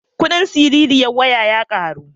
Kudin dizal ta fi kudin fetir